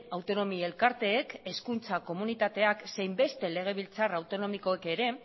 autonomi elkarteek hezkuntza komunitateak zein beste legebiltzar autonomikoek ere